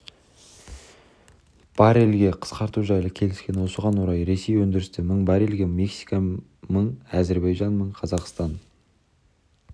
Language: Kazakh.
баррельге қысқарту жайлы келіскен осыған орай ресей өндірісті мың баррельге мексика мың әзербайжан мың қазақстан